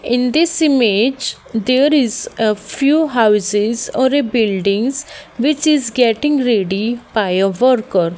in this image there is a few houses or a buildings which is getting ready by a worker.